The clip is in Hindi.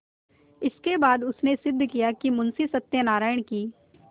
इसके बाद उसने सिद्ध किया कि मुंशी सत्यनारायण की